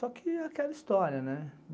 Só que é aquela história, né?